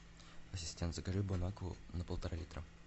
ассистент закажи бон акву на полтора литра